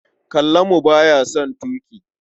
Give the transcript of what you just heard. Kallamu ba ya son tuƙi.